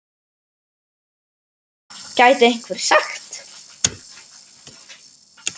Bíddu, bíddu, gæti einhver sagt.